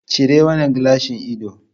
Cire wannan gilashin ido.